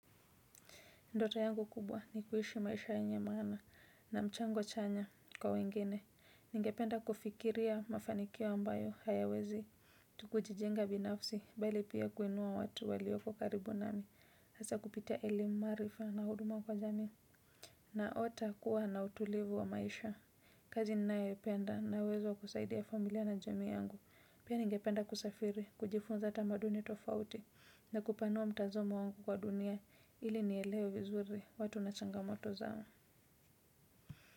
Ndoto yangu kubwa ni kuishi maisha enye mana na mchango chanya kwa wengine. Ningependa kufikiria mafanikiwo ambayo hayawezi. Tukujijenga binafsi, bali pia kuenua watu walioko karibu nami. Asa kupitia elimarifa na huduma kwa jami. Naota kuwa na utulivu wa maisha. Kazi ninaependa na uwezo kusaidia familia na jami yangu. Pia ningependa kusafiri, kujifunza tamaduni tofauti. Na kupanua mitazamu wangu kwa dunia ili niyelewe vizuri watu na changamoto zao.